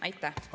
Aitäh!